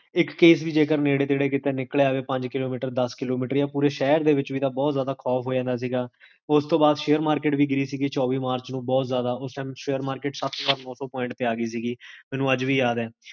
ਇਕ case ਵੀ ਜੇਕਰ ਨਿਕਲ ਜਾਵੇ ਪੰਜ km,